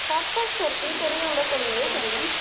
सात तास करते तरी एवढं कमी आहे पेमेंट